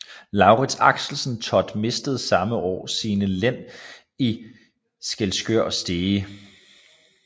Laurids Axelsen Thott mistede samme år sine len i Skælskør og Stege